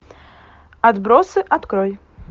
отбросы открой